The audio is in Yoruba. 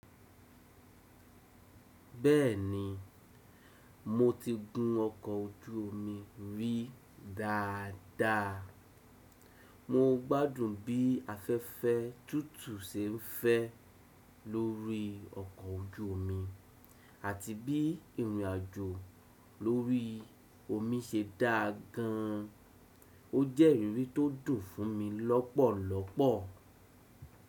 Bẹ́ẹ̀ni, mo ti gun ọkọ̀ ojú omi rí dáadáa. Mo gbádùn bí afẹ́fẹ́ tútù se ń fẹ́ lórí ọkọ̀ ojú omi àti bí ìrìn àjò lórí omi ṣe dá gan an. O jẹ́ ìrírí tó dùn fún mi lọ́pọ̀lọ́pọ̀.